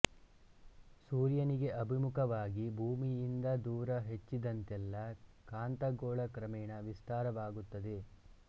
ಸೂರ್ಯನಿಗೆ ಆಭಿಮುಖವಾಗಿ ಭೂಮಿಯಿಂದ ದೂರ ಹೆಚ್ಚಿದಂತೆಲ್ಲ ಕಾಂತಗೋಳ ಕ್ರಮೇಣ ವಿಸ್ತಾರವಾಗುತ್ತದೆ